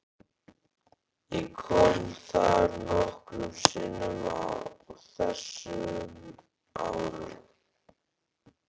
Ég kom þar nokkrum sinnum á þessum árum.